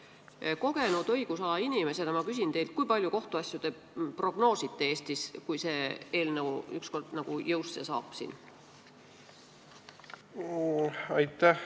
Ma küsin teilt kui kogenud õigusala inimeselt, kui palju kohtuasju te Eestis prognoosite, kui see eelnõu ükskord jõusse astub?